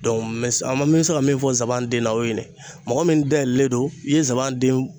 n bɛ se ka min fɔ n sabanan den na, o ye mɔgɔ min dayɛlɛlen don, i ye nsaban